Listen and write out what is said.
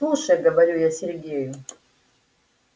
слушай говорю я сергею